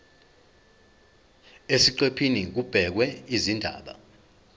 eziqephini kubhekwe izindaba